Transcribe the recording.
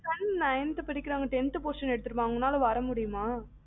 son nineth படிக்கிறாங்க tenth portion எடுத்துருவாங்கா அவங்களால வர முடியுமா?